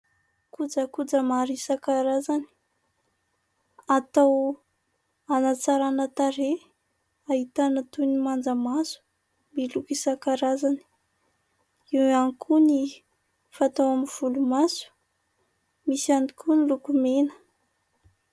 Kojakoja maro isankarazany atao hanatsarana tarehy ahitana toy ny manja maso milokO isankarazany. Eo any koa ny fatao amin'ny volo maso misy ihany koa ny lokomena.